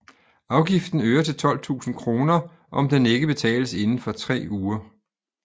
Afgiften øger til 12 000 kr om den ikke betales inden for tre uger